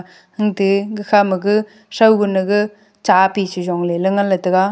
ate gakha ma ga soi bun a ga cha pi che jong ley taiga.